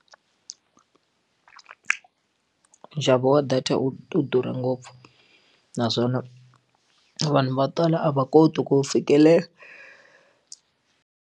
Nxavo wa data wu durha ngopfu naswona vanhu vo tala a va koti ku wu fikelela.